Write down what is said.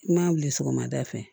I ma wuli sɔgɔmada fɛ